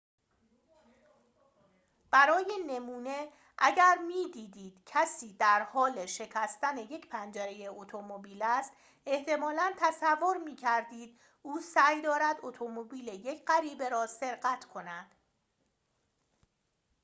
برای نمونه اگر می‌دیدید کسی در حال شکستن یک پنجره اتومبیل است احتمالاً تصور می‌کردید او سعی دارد اتومبیل یک غریبه را سرقت کند